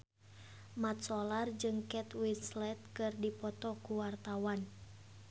Mat Solar jeung Kate Winslet keur dipoto ku wartawan